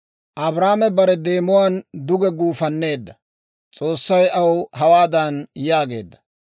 Abraame bare deemuwaan duge guufanneedda; S'oossay aw hawaadan yaageedda;